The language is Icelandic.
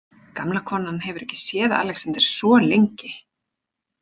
Gamla konan hefur ekki séð Alexander svo lengi.